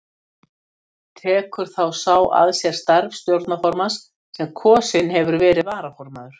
Tekur þá sá að sér starf stjórnarformanns sem kosinn hefur verið varaformaður.